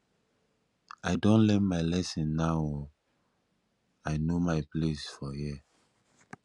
i don learn my lesson now o i know my place for here